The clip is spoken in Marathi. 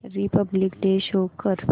रिपब्लिक डे शो कर